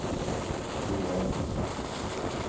Joar